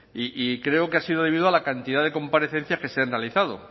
y creo que ha sido debido a la cantidad de comparecencias que se han realizado